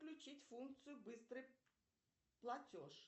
включить функцию быстрый платеж